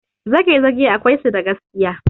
Zagezage akwai su da gaskiya.